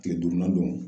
Tile duurunan don